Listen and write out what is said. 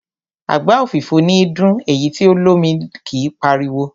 Àgbá òfìfo níí dún, èyí tí o lómi kí páriwo.